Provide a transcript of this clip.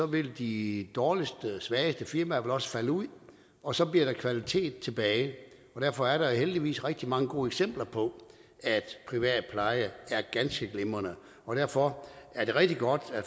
vil de dårligste og svageste firmaer vel også falde ud og så bliver der kvalitet tilbage derfor er der jo heldigvis rigtig mange gode eksempler på at privat pleje er ganske glimrende og derfor er det rigtig godt at